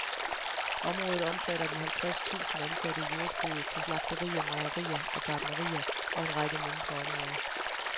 Området omfatter de halvtreds tusind ansatte i jordbruget, på slagterier, mejerier og gartnerier og en række mindre områder.